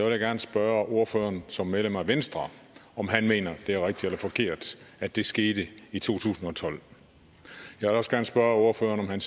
jeg gerne spørge ordføreren som er medlem af venstre om han mener at det er rigtigt eller forkert at det skete i to tusind og tolv jeg vil også gerne spørge ordføreren om han